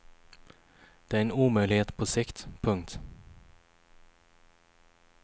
Det är en omöjlighet på sikt. punkt